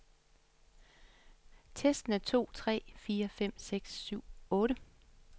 Tester en to tre fire fem seks syv otte.